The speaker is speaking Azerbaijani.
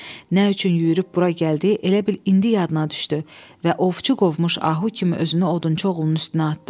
Nə üçün yüyürüb bura gəldi, elə bil indi yadına düşdü və ovçu qovmuş ahu kimi özünü odunçu oğlunun üstünə atdı.